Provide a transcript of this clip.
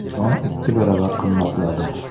Non ikki baravar qimmatladi.